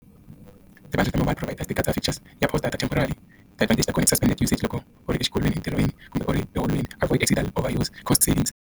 Ti-budget ta mobile provider ti katsa ya temporal i usage loko u ri exikolweni entirhweni kumbe u ri eholweni avoid overuse cost savings.